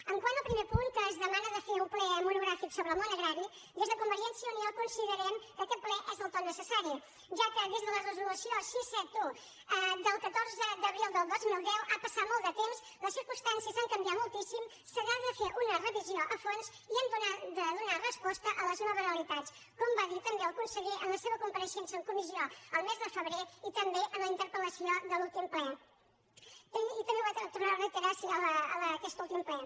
quant al primer punt en què es demana de fer un ple monogràfic sobre el món agrari des de convergència i unió considerem que aquest ple és del tot necessari ja que des de les resolució sis cents i setanta un del catorze d’abril del dos mil deu ha passat molt de temps les circumstàncies han can·viat moltíssim se n’ha de fer una revisió a fons i ha de donar resposta a les noves realitats com va dir també el conseller en la seva compareixença en comissió el mes de febrer i també en la interpel·lació de l’últim ple i també va tornar·ho a reiterar aquest últim ple